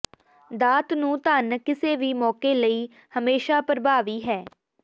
ਦਾਤ ਨੂੰ ਧਨ ਕਿਸੇ ਵੀ ਮੌਕੇ ਲਈ ਹਮੇਸ਼ਾ ਪ੍ਰਭਾਵੀ ਹੈ